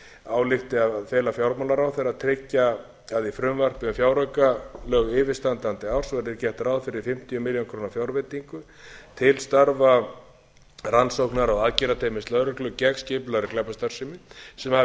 álykti að fela fjármálaráðherra að tryggja að í frumvarpi til fjáraukalaga yfirstandandi árs verði gert ráð fyrir fimmtíu milljónir króna fjárveitingu til starfa rannsóknar og aðgerðateymis lögreglu gegn skipulagðri glæpastarfsemi sem hafi